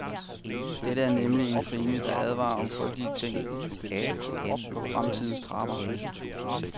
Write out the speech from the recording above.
Dette er nemlig en krimi, der advarer om frygtelig ting på fremtidens trapper.